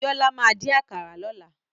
Bíọ́lá máa dín àkàrà lọ́la.